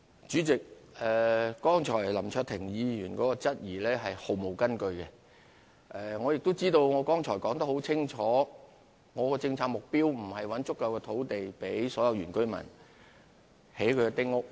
主席，剛才林卓廷議員的質疑是毫無根據的，我剛才已經說得很清楚，我們的政策目標並不是要尋找足夠土地，供所有原居民興建丁屋。